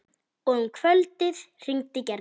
Og um kvöldið hringdi Gerður.